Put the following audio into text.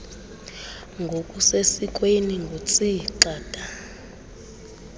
ngokusesikweni ngutsii gxada